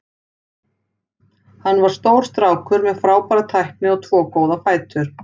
Hann var stór strákur með frábæra tækni og tvo góða fætur.